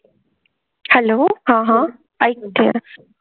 hello हां हां आयकते